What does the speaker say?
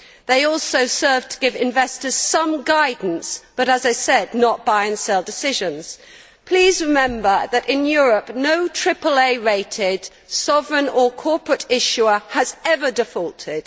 They also serve to give investors some guidance but, as I said, not buy and sell decisions. Please remember that in Europe, no AAA rated sovereign or corporate issuer has ever defaulted.